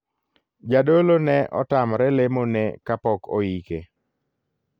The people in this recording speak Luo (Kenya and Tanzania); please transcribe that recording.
Jadolo ne otamre lemo ne kapok oike.